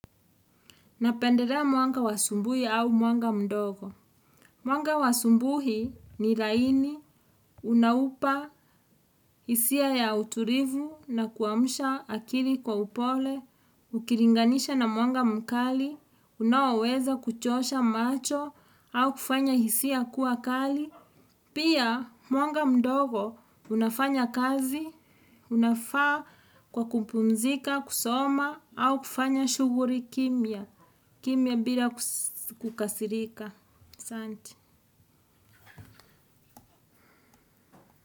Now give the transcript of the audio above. Napenderea mwanga wa asumbui au mwanga mdogo. Mwanga wasumbuhi ni laini, unaupa, hisia ya uturivu na kuwamusha akiri kwa upole, ukiringanisha na mwanga mkali, unaoweza kuchosha macho au kufanya hisia kuwa kali. Pia, mwanga mdogo, unafanya kazi, unafaa kwa kupumzika, kusoma au kufanya shughuli kimya. Kimya mbira kukasirika. Santi.